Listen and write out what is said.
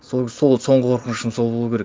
соңғы қорқынышым сол болу керек